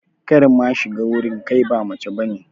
Kar ma shiga wurin, kai ba mace bane.